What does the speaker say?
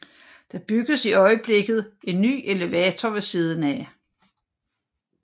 Der bygges i øjeblikket en ny elevator ved siden af